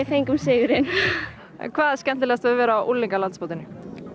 fengum sigurinn hvað er skemmtilegast við að vera á unglingalandsmótinu